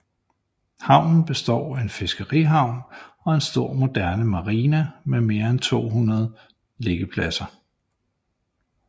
Havnen består af en fiskerihavn og en stor moderne marina med 220 liggepladser